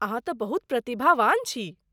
अहाँ तँ बहुत प्रतिभावान छी।